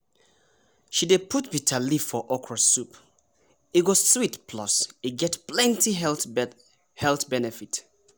she dey put bitterleaf for okra soup e go sweet plus get plenty health benefit.